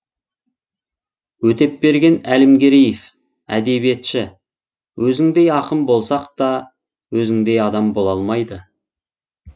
өтепберген әлімгереев әдебиетші өзіңдей ақын болсақ та өзіңдей адам бола алмайды